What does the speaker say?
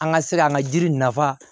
An ka se ka an ka jiri nafa